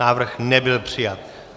Návrh nebyl přijat.